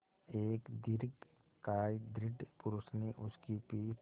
एक दीर्घकाय दृढ़ पुरूष ने उसकी पीठ